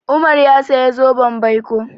Umar ya saya zoben baiko.